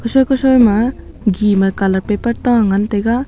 ma gi ma colour paper ta an ngan taiga.